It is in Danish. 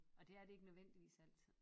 Og det er det ike nødvendigvis altid